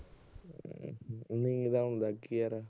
ਨੀਂਦ ਆਉਣ ਲੱਗ ਗਈ ਯਾਰ।